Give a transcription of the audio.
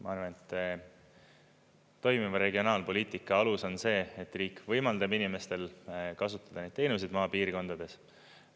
Ma arvan, et toimiva regionaalpoliitika alus on see, et riik võimaldab inimestel kasutada neid teenuseid maapiirkondades.